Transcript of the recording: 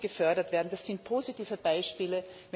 Das muss gefördert werden, das sind positive Beispiele.